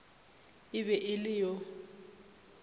e be e le yo